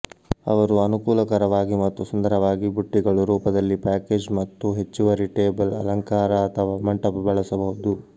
ಅವರು ಅನುಕೂಲಕರವಾಗಿ ಮತ್ತು ಸುಂದರವಾಗಿ ಬುಟ್ಟಿಗಳು ರೂಪದಲ್ಲಿ ಪ್ಯಾಕೇಜ್ ಮತ್ತು ಹೆಚ್ಚುವರಿ ಟೇಬಲ್ ಅಲಂಕಾರ ಅಥವಾ ಮಂಟಪ ಬಳಸಬಹುದು